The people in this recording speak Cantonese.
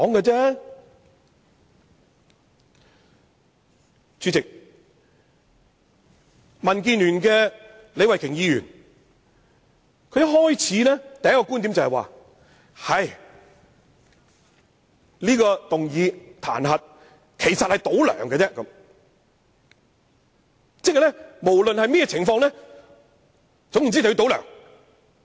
主席，民建聯的李慧琼議員的第一個觀點是，這項彈劾議案其實是"倒梁"而已，反對派無論如何都要"倒梁"。